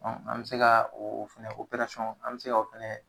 an bɛ se ka o fɛnɛ operasɔn an bɛ se ka o fɛnɛ.